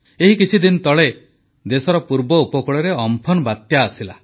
ଏହି କିଛିଦିନ ତଳେ ଦେଶର ପୂର୍ବ ଉପକୂଳରେ ଅମ୍ଫନ ବାତ୍ୟା ଆସିଲା